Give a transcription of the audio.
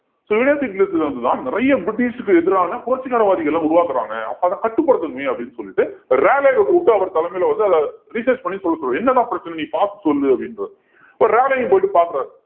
so universities ல இருந்துதான் நிறைய பிரிட்டிஷ்க்கு எதிரான புரட்சிகரவாதிகளை உருவாக்குறாங்க அப்ப அத கட்டுப்படுத்தணுமே அப்படீன்னு சொல்லிட்டு ராலேவ கூப்பிட்டு அவர் தலைமையில வந்து அத research பண்ணி சொல்ல சொல்லுங்க என்ன தான் பிரச்சனன்னு நீ பார்த்து சொல்லு அப்படின்றாரு ராலேவும் போயிட்டு பாக்கறாரு